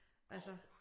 Altså